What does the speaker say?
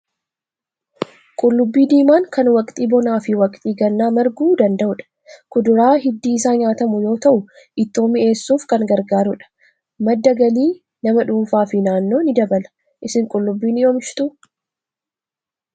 Qullubbii diimaan kan waqtii bonaa fi waqtii gannaa marguu danda'udha. Kuduraa hiddi isaa nyaatamu yoo ta'u, ittoo miny'eessuuf kan gargaarudha. Madda galii nama dhuunfaa fi naannoo ni dabala. Isin qullubbii ni oomishtuu?